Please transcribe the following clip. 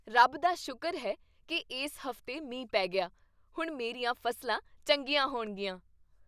ਰੱਬ ਦਾ ਸ਼ੁਕਰ ਹੈ ਕੀ ਇਸ ਹਫ਼ਤੇ ਮੀਂਹ ਪੈ ਗਿਆ। ਹੁਣ ਮੇਰੀਆਂ ਫ਼ਸਲਾਂ ਚੰਗੀਆਂ ਹੋਣਗੀਆਂ।